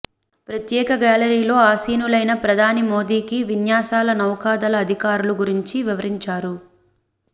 ప్రత్యేక గ్యాల రీలో ఆశీనులైన ప్రధాని మోదీకి విన్యాసాల నౌకదళ అధికారులు గురించి వివరించారు